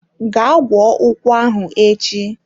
Gaa gwọọ ụkwụ ahụ echi!